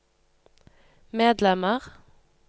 medlemmer